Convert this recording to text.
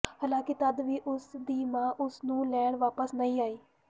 ਹਾਲਾਂਕਿ ਤੱਦ ਵੀ ਉਸ ਦੀ ਮਾਂ ਉਸ ਨੂੰ ਲੈਣ ਵਾਪਸ ਨਹੀਂ ਆਈ